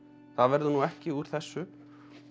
það verður nú ekki úr þessu